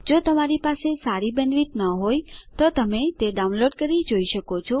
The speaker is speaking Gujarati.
જો તમારી બેન્ડવિડ્થ સારી ન હોય તો તમે ડાઉનલોડ કરી તે જોઈ શકો છો